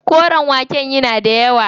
Koren waken yana da yawa.